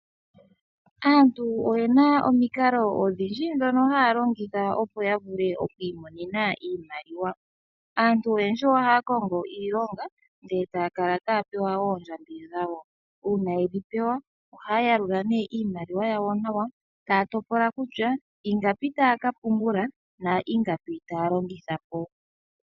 Aantu oyena omikalo odhindji ndhoka haa longitha opo ya vule okwiimonena iimaliwa. Aantu oyendji ohaya kongo iilonga ndele taya kala taya pewa oondjambi dhawo. Uuna yedhi pewa, ohaya yalula nee iimaliwa yawo nawa, taya topola kutya ingapi taya ka pungula na ingapi taya longitha po.